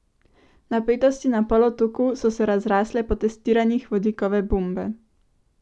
Napetosti na polotoku so se razrasle po testiranjih vodikove bombe.